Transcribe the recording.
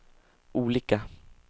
olika